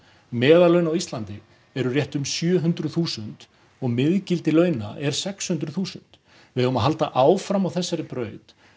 meðal laun á Íslandi eru rétt um sjö hundruð þúsund og miðgildi launa er sex hundruð þúsund við eigum að halda áfram á þessari braut